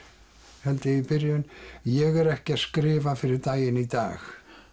held ég í byrjun ég er ekki að skrifa fyrir daginn í dag